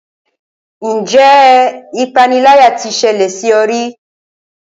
Ǹjẹ́ ipániláyà tí ṣẹlẹ̀ sí ọ rí?